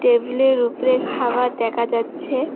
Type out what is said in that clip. টেবিলের উপরে খাবার দেখা যাচ্ছে।